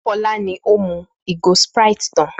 Fọlá ni ó mú ìgò Sprite tán.